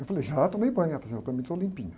Eu falei, já tomei banho, ela fez eu também estou limpinha.